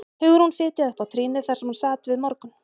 Hugrún fitjaði upp á trýnið þar sem hún sat við morgun